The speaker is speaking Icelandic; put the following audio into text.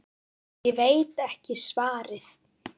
Ég veit ekki svarið.